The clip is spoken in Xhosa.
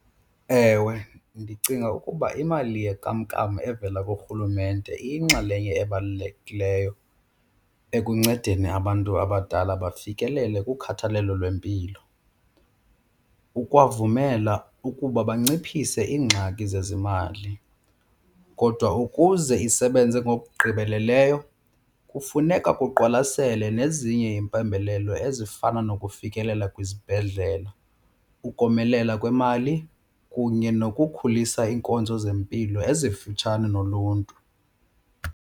Ewe, ndicinga ukuba imali yenkamnkam evela kuRhulumente iyinxalenye ebalulekileyo ekuncedeni abantu abadala bafikelele kukhathalelo lwempilo kukwavumela ukuba banciphise iingxaki zezimali. Kodwa ukuze isebenze ngokugqibeleleyo kufuneka kuqwalaselwe nezinye iimpembelelo ezifana nokufikelela kwizibhedlele, ukomelela kwemali kunye nokukhulisa iinkonzo zempilo ezifitshane noluntu.